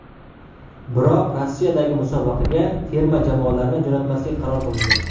Biroq Rossiyadagi musobaqaga terma jamoalarni jo‘natmaslik qaror qilindi.